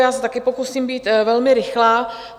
Já se taky pokusím být velmi rychlá.